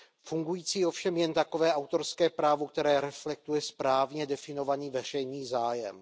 Fungující ovšem jen takové autorské právo, které reflektuje správně definovaný veřejný zájem.